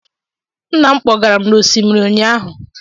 Nna m kpọgara m n'osimiri ụnyaahụ